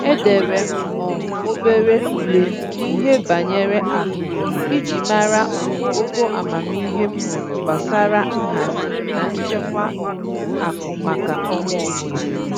Edere m um obere ule n'ihe banyere akụ iji mara um ogo amamihe m nwere gbasara nhazi na nchekwa um akụ maka ọnwa ọbụla